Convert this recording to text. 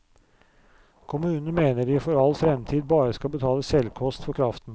Kommunene mener de for all fremtid bare skal betale selvkost for kraften.